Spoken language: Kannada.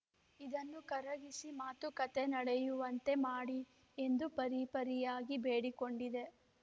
ಇದನ್ನು ಕರಗಿಸಿ ಮಾತುಕತೆ ನಡೆಯುವಂತೆ ಮಾಡಿ ಎಂದು ಪರಿಪರಿಯಾಗಿ ಬೇಡಿಕೊಂಡಿದೆ